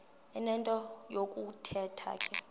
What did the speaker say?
enento yokuthetha ke